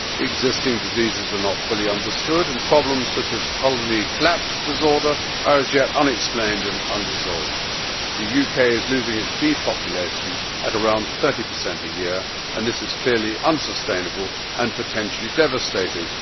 Existing diseases are not fully understood, and problems such as colony collapse disorder are as yet unexplained and unresolved. The UK is losing its bee population at around 30 a year, and this is clearly unsustainable and potentially devastating.